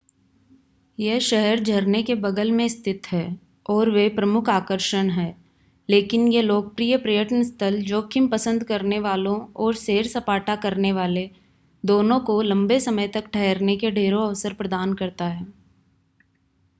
यह शहर झरने के बगल में स्थित है और वे प्रमुख आकर्षण हैं लेकिन यह लोकप्रिय पर्यटन स्थल जोखिम पसंद करने वालों और सैर-सपाटा करनेवाले दोनों को लंबे समय तक ठहरने के ढेरों अवसर प्रदान करता है